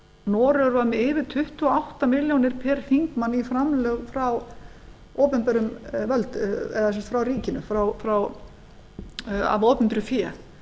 noregur var með yfir tuttugu og átta milljónir pr þingmann í framlög frá ríkinu af opinberu fé